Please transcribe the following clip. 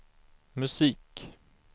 musik